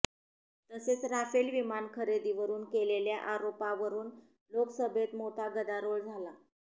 तसेच राफेल विमान खरेदीवरून केलेल्या आरोपावरून लोकसभेत मोठा गदारोळ झाला